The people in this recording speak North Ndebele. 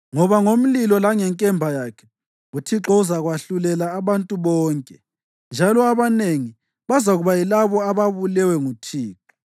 Ngoba ngomlilo langenkemba yakhe uThixo uzakwahlulela abantu bonke, njalo abanengi bazakuba yilabo ababulewe nguThixo.